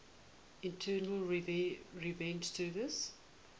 internal revenue service